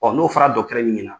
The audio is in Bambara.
Ɔ n'o fɔra dɔgɔtɔrɔ min ɲɛna